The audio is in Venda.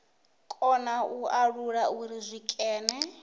kona u alula uri zwikene